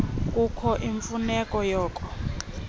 kukho imfuneko yoko